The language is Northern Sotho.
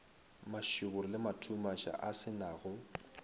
mašoboro le mathumaša a senago